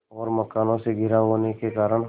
और मकानों से घिरा होने के कारण